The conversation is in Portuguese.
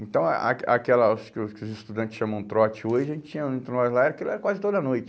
Então ah ah aque aquelas que o que os estudantes chamam trote hoje, a gente tinha entre nós lá, aquilo era quase toda noite.